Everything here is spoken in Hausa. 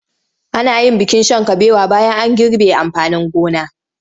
Ana yin bikin shan kabewa bayan an girbe amfanin gona.